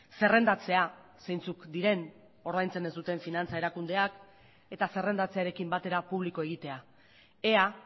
zerrendatzea zeintzuk diren ordaintzen ez duten finantza erakundeak eta zerrendatzearekin batera publiko egitea ea